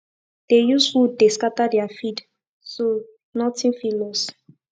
dey use wood dey scatter their feed so nothing fit loss